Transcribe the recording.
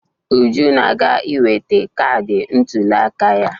Uju na-aga iweta kaadị ntụliaka ya.